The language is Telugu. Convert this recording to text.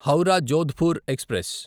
హౌరా జోధ్పూర్ ఎక్స్ప్రెస్